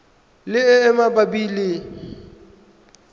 le e e mabapi le